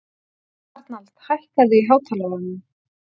Arnald, hækkaðu í hátalaranum.